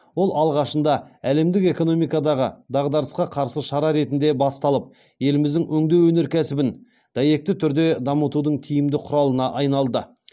ол алғашында әлемдік экономикадағы дағдарысқа қарсы шара ретінде басталып еліміздің өңдеу өнеркәсібін дәйекті түрде дамытудың тиімді құралына айналды